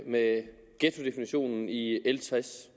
med ghettodefinitionen i l tres